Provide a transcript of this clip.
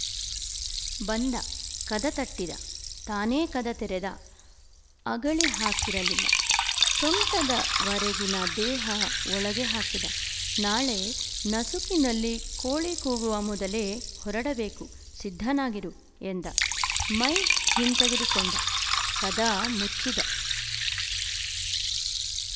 ಬಂದ ಕದ ತಟ್ಟಿದ ತಾನೇ ಕದ ತೆರೆದ ಅಗಳಿ ಹಾಕಿರಲಿಲ್ಲ ಸೊಂಟದ ವರೆಗಿನ ದೇಹ ಒಳಗೆ ಹಾಕಿದ ನಾಳೆ ನಸುಕಿನಲ್ಲಿ ಕೋಳಿ ಕೂಗುವ ಮೊದಲೇ ಹೊರಡಬೇಕು ಸಿದ್ಧನಾಗಿರು ಎಂದ ಮೈ ಹಿಂತೆಗೆದುಕೊಂಡ ಕದ ಮುಚ್ಚಿದ